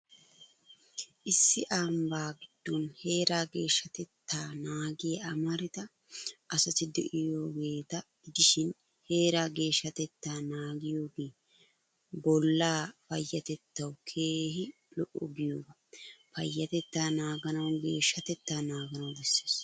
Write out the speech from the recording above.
Issi ambbaa giddon heeraa geeshshatettaa naagiyaa amarida asati de' iyaageeta gidishin, heeraa geeshshatettaa naagiyogee, bollaa payyatettawu keehi lo'o giyooga. Payyatettaa naaganawu geeshshatettaa naaganawu bessees.